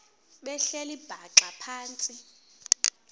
behleli bhaxa phantsi